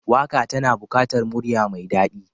Waka tana bukatar murya mai dadi.